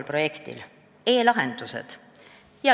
E-lahendused!